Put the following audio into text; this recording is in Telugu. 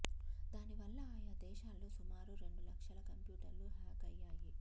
దాని వల్ల ఆయా దేశాల్లో సుమారు రెండు లక్షల కంప్యూటర్లు హ్యాక్ అయ్యాయి